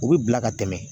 U bɛ bila ka tɛmɛ